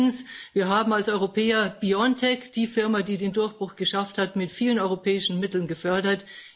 Zweitens Wir haben als Europäer BioNTech, die Firma, die den Durchbruch geschafft hat, mit vielen europäischen Mitteln gefördert.